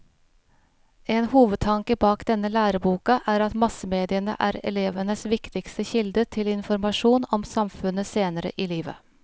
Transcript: En hovedtanke bak denne læreboka er at massemediene er elevenes viktigste kilde til informasjon om samfunnet senere i livet.